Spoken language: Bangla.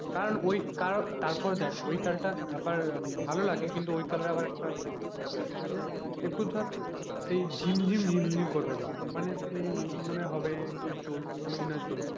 কারণ ওই কারণ তারপর দেখ ওই কালটা আবার ভালো লাগে কিন্তু ওই কালের আবার একটা ইয়ে আছে যে একটু ধর এই ঝিমঝিম ঝিমঝিম গা করবে মানে সেই মানে হবে যে চলছি না চলছিনা,